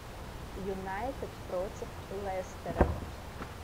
юнайтед против лестера